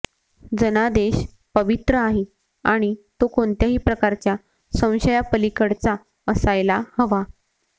जनादेश पवित्र आहे आणि तो कोणत्याही प्रकारच्या संशयापलीकडचा असायला हवा